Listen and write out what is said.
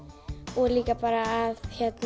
og líka bara að